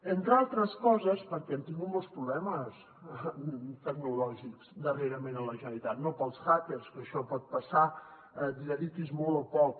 entre altres coses perquè hem tingut molts problemes tecnològics darrerament a la generalitat no pels hackers que això pot passar n’hi dediquis molt o poc